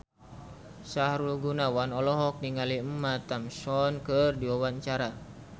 Sahrul Gunawan olohok ningali Emma Thompson keur diwawancara